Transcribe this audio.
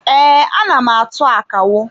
Ee, ana m atụ akawo.